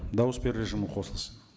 дауыс беру режимі қосылсын